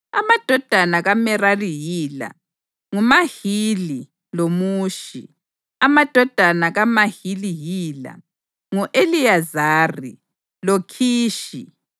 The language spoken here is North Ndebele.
Amadodana kaMerari yila: nguMahili loMushi. Amadodana kaMahili yila: ngu-Eliyezari loKhishi.